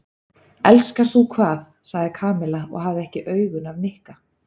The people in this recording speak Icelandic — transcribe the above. Elskar þú hvað? sagði Kamilla og hafði ekki augun af Nikka.